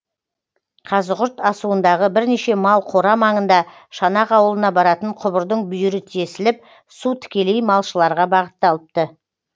қазығұрт асуындағы бірнеше мал қора маңында шанақ ауылына баратын құбырдың бүйірі тесіліп су тікелей малшыларға бағытталыпты